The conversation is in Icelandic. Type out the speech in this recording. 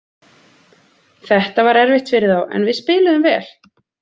Þetta var erfitt fyrir þá, en við spiluðum vel.